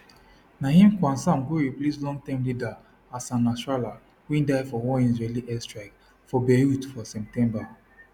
naim qassem go replace longterm leader hassan nasrallah wey die for one israeli air strike for beirut for september